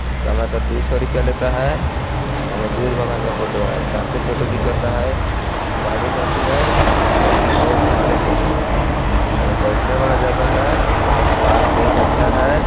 काला का दू सौ रुपया लेता है ओय मे बुद्ध भगवान का फोटो हैं साथ मे फोटो खिचवाता हैं एगो बैठने वाला जगह हैं पार्क बहुत अच्छा हैं ।